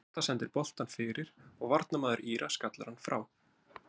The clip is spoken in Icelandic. Ásta sendir boltann fyrir og varnarmaður Íra skallar hann frá.